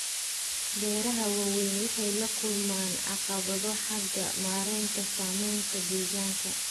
Beeraha waaweyni waxay la kulmaan caqabado xagga maaraynta saamaynta deegaanka.